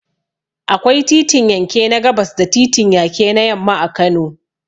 Akwai titin yanke na gabas da titin yake na yamma a Kano.